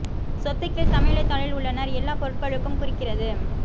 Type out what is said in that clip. சொத்து கீழ் சமநிலை தாளில் உள்ளனர் எல்லா பொருட்களுக்கும் குறிக்கிறது